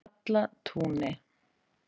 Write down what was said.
Stallatúni